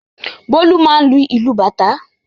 Bólú máà ń lu ìlù bàtá.